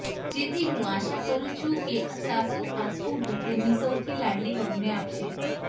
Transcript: જેથી હું આશા કરુ છું કે સાસુ આ સ્કુટર તેમની સૌથી લાડલી વહુને આપશે